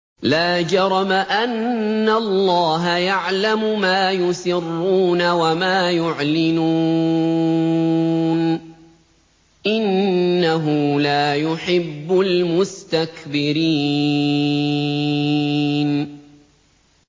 لَا جَرَمَ أَنَّ اللَّهَ يَعْلَمُ مَا يُسِرُّونَ وَمَا يُعْلِنُونَ ۚ إِنَّهُ لَا يُحِبُّ الْمُسْتَكْبِرِينَ